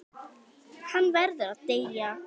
Hann verður að deyja.